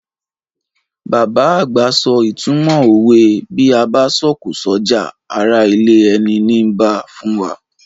Bàbá àgbà so ìtumọ̀ òwe "Bí a bá sọ̀kò s'ọ́jà, ará ilé ẹni nii bá" fún wa.